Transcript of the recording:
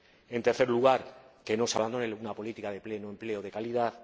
en tercer lugar, que no se abandone una política de pleno empleo de calidad